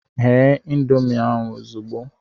Ghe ịndomii ahụ ehe ozugbo!